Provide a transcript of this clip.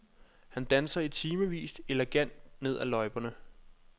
Han danser i timevis elegant ned ad løjperne.